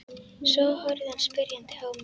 Svo horfði hann spyrjandi á mig.